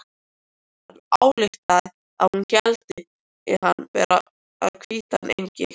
Hann ályktaði að hún héldi hann vera hvítan engil.